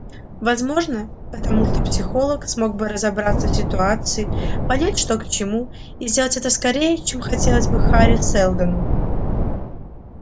возможно потому что психолог смог бы разобраться в ситуации понять что к чему и сделать это скорее чем хотелось бы хари сэлдону